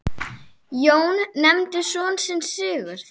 Jón nefndi son sinn Sigurð.